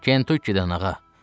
“Kentuky-dən, ağa.”